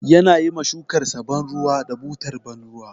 Yana yi ma shukarsa ban ruwa da butar ban ruwa.